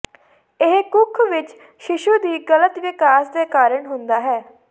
ਇਹ ਕੁੱਖ ਵਿੱਚ ਸ਼ੀਸ਼ੂ ਦੀ ਗਲਤ ਵਿਕਾਸ ਦੇ ਕਾਰਨ ਹੁੰਦਾ ਹੈ